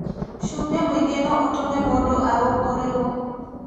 Cumbĩ mũingĩ no ũtũme mũndũ arũngũrĩrwo.